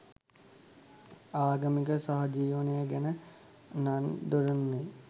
ආගමික සහජීවනය ගැන නන් දොඩන්නේ